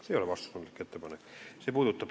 See ei ole vastutustundlik ettepanek!